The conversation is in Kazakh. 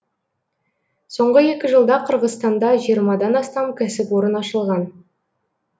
соңғы екі жылда қырғызстанда жиырмадан астам кәсіпорын ашылған